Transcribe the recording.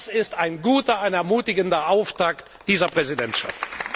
Das ist ein guter, ein ermutigender Auftakt dieser Präsidentschaft.